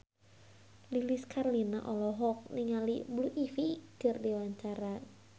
Lilis Karlina olohok ningali Blue Ivy keur diwawancara